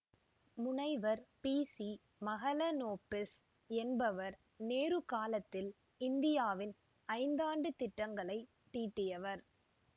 முனைவர் பிசி மஹலனொபிஸ் என்பவர் நேரு காலத்தில் இந்தியாவின் ஐந்தாண்டுத் திட்டங்களை தீட்டியவர்